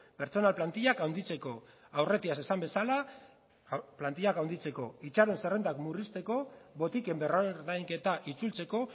pertsonal plantillak handitzeko aurretiaz esan bezala plantillak handitzeko itxaron zerrendak murrizteko botiken berrordainketa itzultzeko